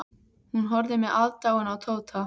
Hún horfði með aðdáun á Tóta.